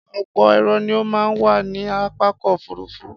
Ọ̀pọ̀ èrò ni ó máa ń wà ní pápákọ̀ òfúrufú